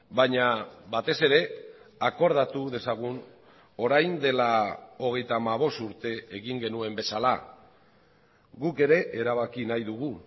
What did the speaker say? baina batez ere akordatu dezagun orain dela hogeita hamabost urte egin genuen bezala guk ere erabaki nahi dugu